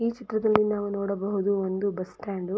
ಈ ಚಿತ್ರದಲ್ಲಿ ನಾವು ನೋಡಬಹುದು ಒಂದು ಬಸ್ ಸ್ಟಾಂಡ್ .